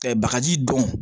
Ka bagaji dɔn